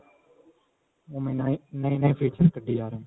ਓਵੇਂ ਨਵੇਂ-ਨਵੇਂ features ਕੱਡੀ ਜਾਂ ਰਹੇ ਨੇ.